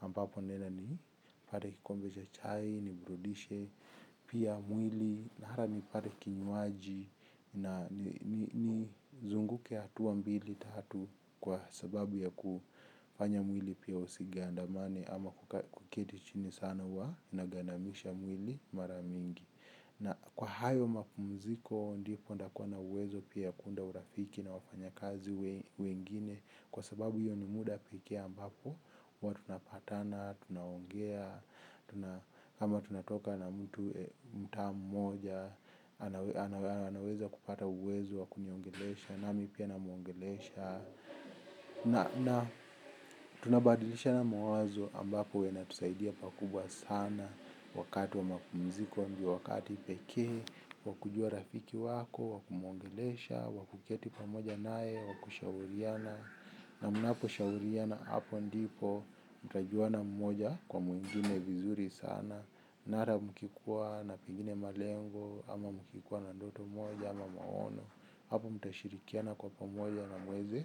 ambapo niende nipate kikombe cha chai iniburudishe pia mwili na hata nipate kinywaji nizunguke hatuwa mbili tatu kwa sababu ya kufanya mwili pia usigandamane ama kuketi chini sana huwa inagandamisha mwili mara mingi. Kwa hayo mapumziko ndipo nitakuwa na uwezo pia wa kuunda urafiki na wafanyikazi wengine kwa sababu hio ni muda pekee tunapatana tunaongea kama tunatoka na mtu mtaa mmoja anaweza kupata uwezo wa kuniongelesha nami pia namuongelesha. Na tunabadilishana mawazo ambapo inatusaidia pakubwa sana wakati wa mapumziko ndio wakati pekee wa kujua rafiki wako wa kumuongelesha wakuwakuketi pamoja naye wakushauriana na mnaposhauriana apo ndipo mtajuana mmoja kwa mwingine vizuri sana. Na ata mkikuwa na pengine malengo ama mkikuwa na ndoto moja ama maono hapo mtashirikiana kwa pamoja na muweze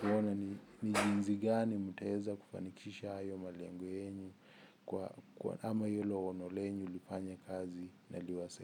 kuona ni jinsi gani mtaweza kufanikisha hayo malengo yenu ama hilo lengo lifanye kazi na.